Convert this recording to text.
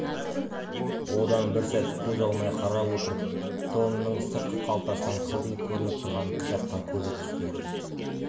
одан бір сәт көз алмай қарап отырып тонының сыртқы қалтасынан қылтиып көрініп тұрған кітапқа көзі түсті